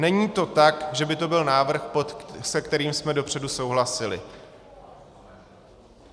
Není to tak, že by to byl návrh, se kterým jsme dopředu souhlasili.